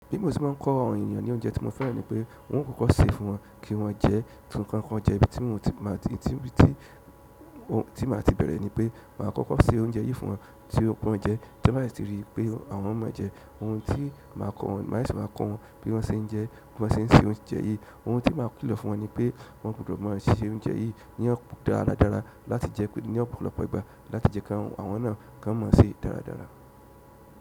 Bí mo se máa ń kọ àwọn ènìyàn ní oúnjẹ tí mo fẹ́ràn ni pé wọn ò kokọ́ ṣe fún wọn kí wọ́n jẹ ẹ́, kí wọ́n jẹ ibi tí ti máa ti bẹ̀rẹ̀ ní pé màá kọ́kọ́ ṣe oúnjẹ yìí fún wọn tí ó ki wọn jẹ, tí wọ́n bá si ti rí i pé àwọn mo jẹ, ohun tí màá kọ́ wọn, màá sese wa kọ́ wọn bí wọ́n ṣe ń jẹ, bí wọ́n ṣe ń se oúnjẹ yìí. Oun ti maa kilo fún won ni pe, won gbudo maa se oúnjẹ yìí ni àpò dáradára láti je pe, ni ọ̀pọ̀lọpọ̀ ìgbà láti je ki àwọn náà kan mo se dáradára.